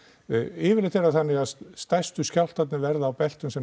yfirleitt er það þannig að stærstu skjálftarnir verða á beltum sem